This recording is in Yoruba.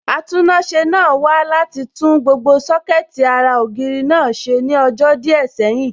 Atúnáṣe náà wá láti tún gbogbo Sọ́kẹ̀tì ara ògiri náà ṣe ní ọjọ́ díẹ̀ sẹ́yìn